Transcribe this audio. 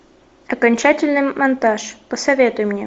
окончательный монтаж посоветуй мне